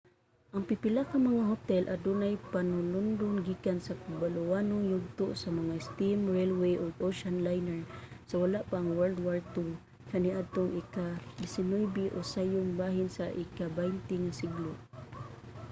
ang pipila ka mga hotel adunay panulundon gikan sa bulawanong yugto sa mga steam railway ug ocean liner sa wala pa ang world war ii kaniadtong ika-19 o sayong bahin sa ika-20 nga siglo